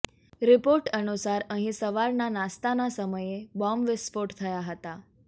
report અનુસાર અહીં સવારના નાસ્તાના સમયે બોંબ વિસ્ફોટ થયા હતા